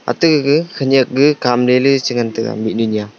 atte gaga khanyak gaga kamle le chi ngantaga mihnu nya.